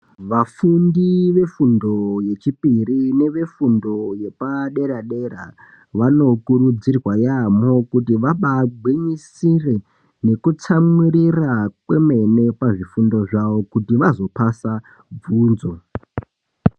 Vafundi vefundo yechipiri nefundo yepa dera dera vano kurudzirwa yaamo kuti vambai gwinyisire nekutsamwirira kwemene pazvifundo zvavo kuti vazopasa bvunzo.